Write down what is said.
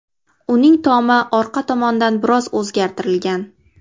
Uning tomi orqa tomondan biroz o‘zgartirilgan.